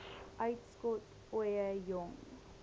uitskot ooie jong